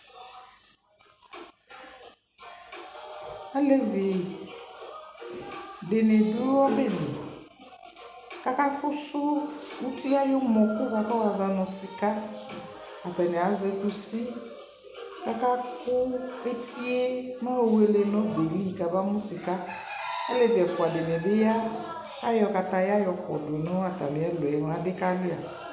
alɛvi dini dʋ ɔbɛli kʋ aka ƒʋsʋ ʋti ayibɛmɔ kʋwazɔnʋ sika, atani azɛkʋsikʋaka kʋ ɛtiɛ nʋ wɛlɛ nʋ ɔbɛli kʋaba mʋ sika, ɔlɛvi ɛƒʋa dinibiya kʋayɔ kataya yɔkɔdʋ nʋ atami ɛlʋɛ mʋ adi ka wlia